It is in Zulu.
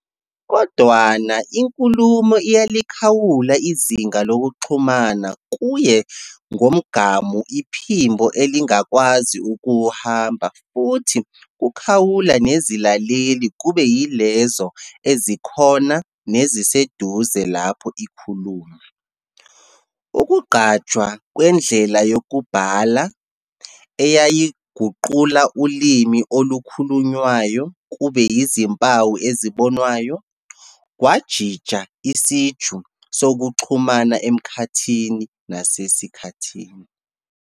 Kodwana inkulumo iyalikhawula izinga lokuxhumana kuye ngomgamu iphimbo elingakwazi ukuwuhamba futhi kukhawula nezilaleli kube yilezo ezikhona neziseduze lapho ikhulunywa. Ukuqanjwa kwendlela yokubhala, eyayiguqula ulimi olukhulunywayo kube izimpawu ezibonwayo, kwajija isiju sokuxhumana emkhathini nasesikhathini.